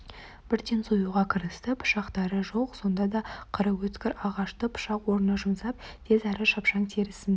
бірден союға кірісті пышақтары жоқ сонда да қыры өткір ағашты пышақ орнына жұмсап тез әрі шапшаң терісін